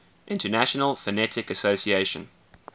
international phonetic association